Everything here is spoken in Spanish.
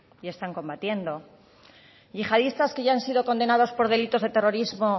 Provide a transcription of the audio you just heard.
y están combatiendo yihadistas que ya han sido condenados por delitos de terrorismo